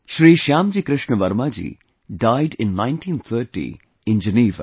Shri Shyamji Krishna Varma ji died in 1930 in Geneva